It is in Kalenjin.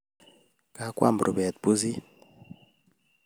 Kagoam rubeet pusit